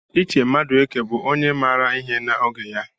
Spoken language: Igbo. Iche Madueke bụ onye maara ihe n'oge ya.